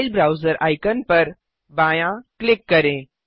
file browser icon पर बायाँ click करें